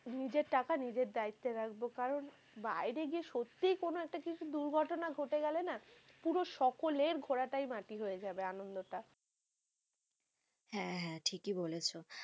নিজের টাকা নিজের দায়িত্বে রাখবো কারণ বাইরে গিয়ে সত্যি কোনো কিছু একটা দুর্ঘটনা ঘটে গেলে না, পুরো সকলের ঘোরাটাই মাটি হয়ে যাবে আন্নন্দ টা, হ্যাঁ হ্যাঁ ঠিকই বলেছো।